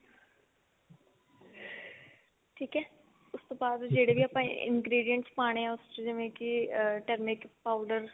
ਠੀਕ ਹੈ ਆਪਾਂ ingredients ਪਾਣੇ ਨੇ ਉਸ ਚ ਜਿਵੇਂ ਕੀ ਅਹ turmeric powder